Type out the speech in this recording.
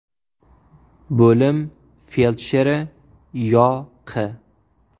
Bo‘lim feldsheri Yo.Q.